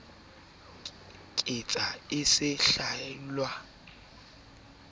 katse a se hlwella a